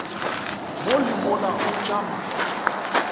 mo le mola o tšama